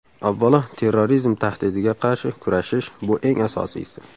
Avvalo, terrorizm tahdidiga qarshi kurashish, bu eng asosiysi.